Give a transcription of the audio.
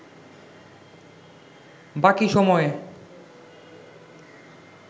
বাকি সময়ে